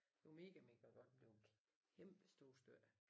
Det var mega mega godt men det var kæmpe store stykker